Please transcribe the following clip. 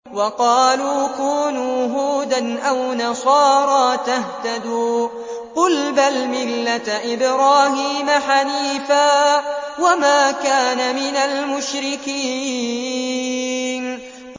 وَقَالُوا كُونُوا هُودًا أَوْ نَصَارَىٰ تَهْتَدُوا ۗ قُلْ بَلْ مِلَّةَ إِبْرَاهِيمَ حَنِيفًا ۖ وَمَا كَانَ مِنَ الْمُشْرِكِينَ